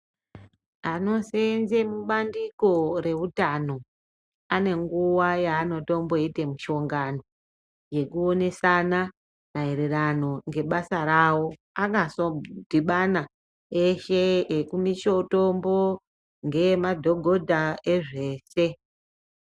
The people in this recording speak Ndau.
Anoseenze mubandiko reutano anenguva yanotomboite mushongano yekuonesana maererano ngebasa rawo, akasodhibana eshe ekumitombo ngeyemadhogodha ezvese.